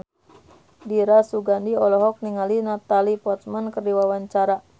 Dira Sugandi olohok ningali Natalie Portman keur diwawancara